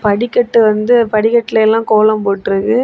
படிக்கட்டு வந்து படிக்கட்லலாம் கோலம் போட்டுருக்கு.